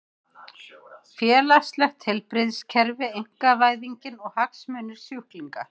Félagslegt heilbrigðiskerfi, einkavæðingin og hagsmunir sjúklinga.